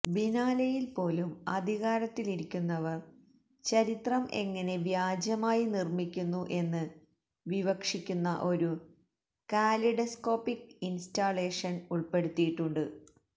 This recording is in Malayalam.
ബിനാലെയിൽ പോലും അധികാരത്തിലിരിക്കുന്നവർ ചരിത്രം എങ്ങനെ വ്യാജമായി നിർമ്മിക്കുന്നു എന്ന് വിവക്ഷിക്കുന്ന ഒരു കാലിഡസ്കോപ്പിക്ക് ഇൻസ്റ്റാളേഷൻ ഉൾപ്പെടുത്തിയിട്ടുണ്ട്